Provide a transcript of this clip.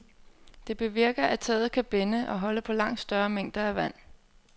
Det bevirker, at taget kan binde og holde på langt større mængder af vand.